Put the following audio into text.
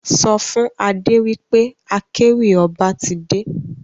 Sọ fún Adé wí pé akéwì ọba ti dé.